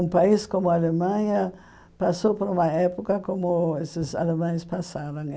Um país como a Alemanha passou por uma época como esses alemães passavam.